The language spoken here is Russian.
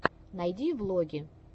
найди влоги